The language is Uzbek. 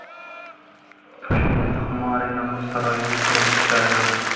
Toshkentdagi Humo Arena muz saroyining qurilish jarayoni.